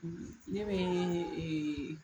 Ne bɛ eeee